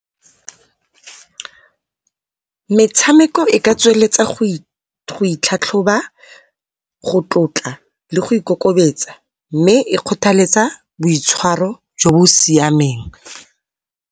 Metshameko e ka tsweletsa go itlhatlhoba, go tlotla le go ikokobetsa mme e kgothaletsa boitshwaro jo bo siameng.